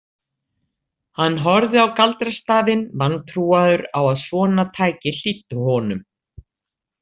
Hann horfði á galdrastafinn, vantrúaður á að svona tæki hlýddi honum.